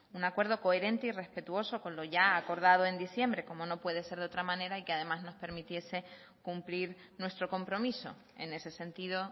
un acuerdo coherente y respetuoso con lo ya acordado en diciembre como no puede ser de otra manera y que además nos permitiese cumplir nuestro compromiso en ese sentido